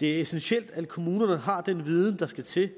det er essentielt at kommunerne har den viden der skal til